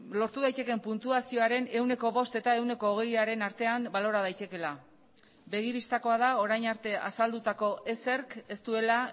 lortu daitekeen puntuazioaren ehuneko bost eta ehuneko hogeiaren artean balora daitekeela begibistakoa da orain arte azaldutako ezerk ez duela